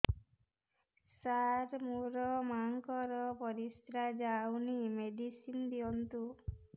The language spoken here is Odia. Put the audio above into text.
ସାର ମୋର ମାଆଙ୍କର ପରିସ୍ରା ଯାଉନି ମେଡିସିନ ଦିଅନ୍ତୁ